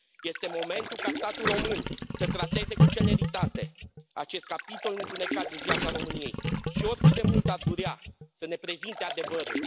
Este momentul ca Statul român să trateze cu celeritate acest capitol întunecat din viața României și, oricât de mult ar durea, să ne prezinte adevărul.